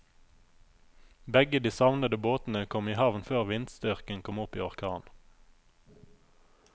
Begge de savnede båtene kom i havn før vindstyrken kom opp i orkan.